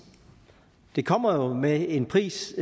det kommer med en pris